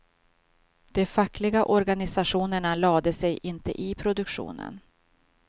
De fackliga organisationerna lade sig inte i produktionen.